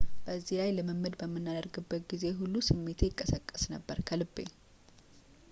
በዚህ ላይ ልምምድ በምናደርግበት ጊዜ ሁሉ ስሜቴ ይቀሰቀስ ነበር ከልቤ